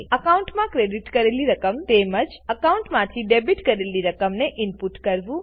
એકાઉન્ટમાં ક્રેડીટ કરેલી રકમ તેમજ એકાઉન્ટમાંથી ડેબીટ કરેલી રકમને ઈનપુટ કરવું